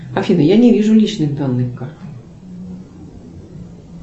афина я не вижу личных данных карты